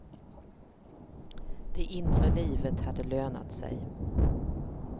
Det inre livet hade lönat sig.